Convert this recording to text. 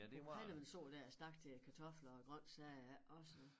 Det var helvedes år da jeg stak til æ kartofler og grøntsager ja også